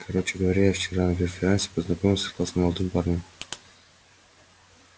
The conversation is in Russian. короче говоря я вчера на преферансе познакомился с классным молодым парнем